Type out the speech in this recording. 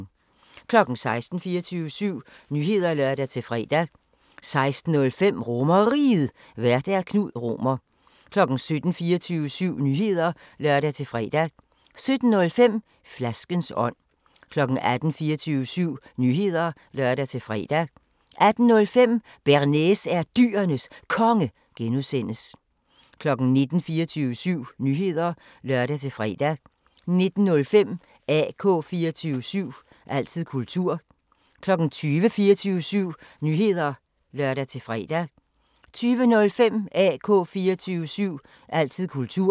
16:00: 24syv Nyheder (lør-fre) 16:05: RomerRiget, Vært: Knud Romer 17:00: 24syv Nyheder (lør-fre) 17:05: Flaskens ånd 18:00: 24syv Nyheder (lør-fre) 18:05: Bearnaise er Dyrenes Konge (G) 19:00: 24syv Nyheder (lør-fre) 19:05: AK 24syv – altid kultur 20:00: 24syv Nyheder (lør-fre) 20:05: AK 24syv – altid kultur